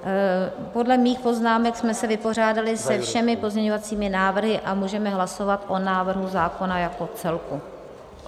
Podle mých poznámek jsme se vypořádali se všemi pozměňovacími návrhy a můžeme hlasovat o návrhu zákona jako celku.